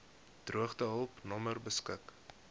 droogtehulp nommer beskik